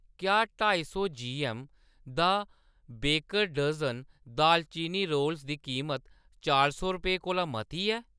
क्या ढाई सौ जीऐम्म दा बेकर डज़न दालचीनी रोल्स दी कीमत चार सौ रपेंऽ कोला मती ऐ ?